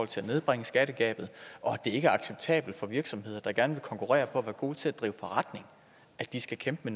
til at nedbringe skattegabet og at det ikke er acceptabelt for virksomheder der gerne vil konkurrere på at være gode til at drive forretning at de skal kæmpe